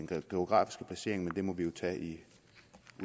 den geografiske placering men det må vi jo tage i